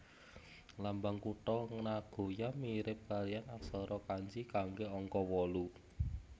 Lambang kutha Nagoya mirip kalihan aksara kanji kanggé angka wolu